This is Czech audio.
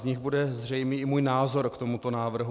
Z nich bude zřejmý i můj názor k tomuto návrhu.